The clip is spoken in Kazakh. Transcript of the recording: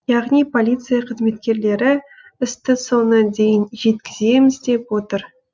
яғни полиция қызметкерлері істі соңына дейін жеткіземіз деп отыр